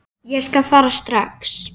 Ég skal fara strax.